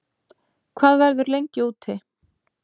Hvað verður lengi úti